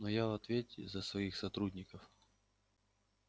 но я в ответе за своих сотрудников